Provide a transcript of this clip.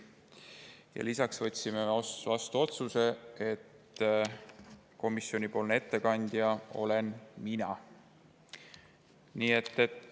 Peale selle võtsime vastu otsuse, et komisjoni ettekandja olen mina.